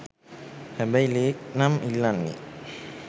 හැබැයි ලේ නම් ඉල්ලන්නේ